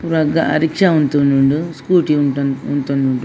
ಪೂರ ರಿಕ್ಷಾ ಉಂತೊಂದುಂಡು ಸ್ಕೂಟಿ ಉಂತೊಂದುಂಡು.